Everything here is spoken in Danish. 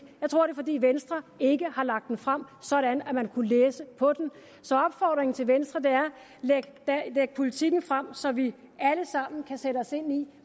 jeg tror det er fordi venstre ikke har lagt den frem sådan at man kunne læse på den så opfordringen til venstre er læg politikken frem så vi alle sammen kan sætte os ind i